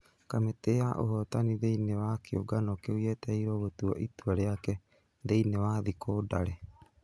Kamĩtĩ ya ũhotani thĩini wa kiũngano kĩu yetereirwo gũtua itua rĩake thĩini wa thikũ ndare.